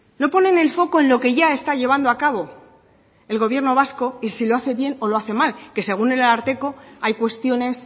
no ponen el foco en lo que ya está llevando a cabo el gobierno vasco y si lo hace bien o lo hace mal que según el ararteko hay cuestiones